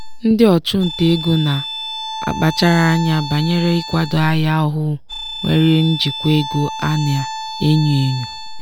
ndị ọchụnta ego na-akpachara anya banyere ikwado ahịa ọhụụ nwere njikwa ego a na-enyo enyo.